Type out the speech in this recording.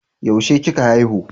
Yaushe kika haihu?